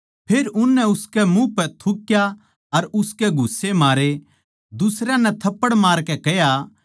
फेर उननै उसकै मुँह पै थुक्या अर उसकै घुस्से मारे दुसरयां नै थप्पड़ मारकै कह्या